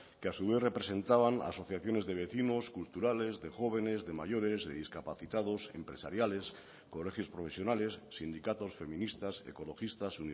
que a su vez representaban a asociaciones de vecinos culturales de jóvenes de mayores de discapacitados empresariales colegios profesionales sindicatos feministas ecologistas